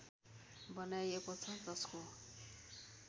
बनाइएको छ जसको